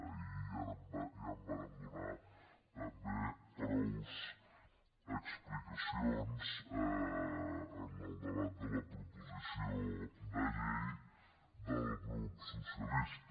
ahir ja en vàrem donar també prou explicacions en el debat de la proposició de llei del grup socialista